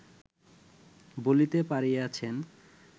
বলিতে পারিয়াছেন